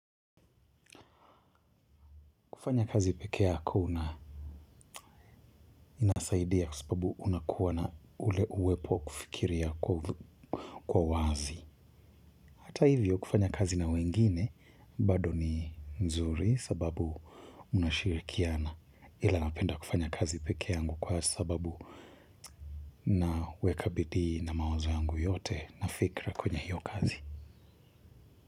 Kufanya kazi peke yako inasaidia kwa sababu unakuwa na ule uwepo kufikiria kwa wazi. Hata hivyo kufanya kazi na wengine bado ni nzuri, sababu, mnashirikiana. Ila napenda kufanya kazi peke yangu kwa sababu nawek bidii na mawazo yangu yote na fikra kwenye hiyo kazi.